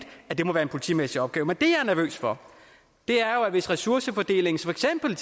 at det må være en politimæssig opgave men det jeg er nervøs for er jo hvis ressourcefordelingen for eksempel